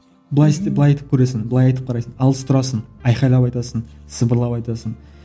былай істеп былай айтып көресің былай айтып қарайсың алыс тұрасың айқайлап айтасың сыбырлап айтасың